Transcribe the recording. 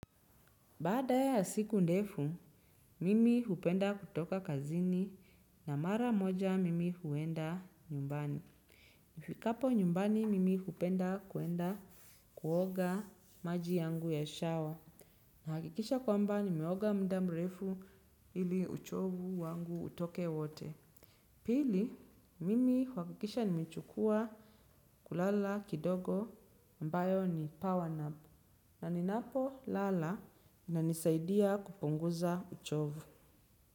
Baada ya siku ndefu, mimi hupenda kutoka kazini na mara moja mimi huenda nyumbani. Nifikapo nyumbani mimi hupenda kuenda kuoga maji yangu ya shower. Nahakikisha kwamba nimeoga muda mrefu ili uchovu wangu utoke wote. Pili, mimi uhakikisha nimechukua kulala kidogo ambayo ni power napu. Naninapolala inanisaidia kupunguza uchovu.